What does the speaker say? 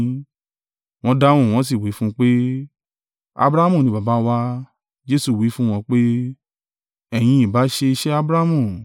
Wọ́n dáhùn, wọ́n sì wí fún un pé, “Abrahamu ni baba wa!” Jesu wí fún wọn pé, “Ẹ̀yin ìbá ṣe iṣẹ́ Abrahamu.